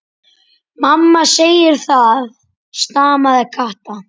Mamma segir það, stamaði Kata.